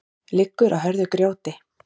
liggur á hörðu grjóti